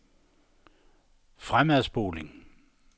fremadspoling